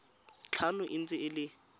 tlhano e ntse e le